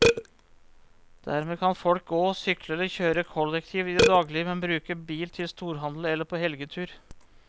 Dermed kan folk gå, sykle eller kjøre kollektivt i det daglige, men bruke bil til storhandel eller på helgetur.